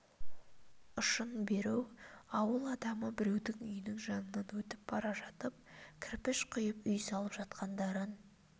ұшын беру ауыл адамы біреудің үйінің жанынан өтіп бара жатып кірпіш құйып үй салып жатқандарын